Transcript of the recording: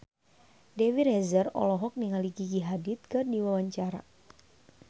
Dewi Rezer olohok ningali Gigi Hadid keur diwawancara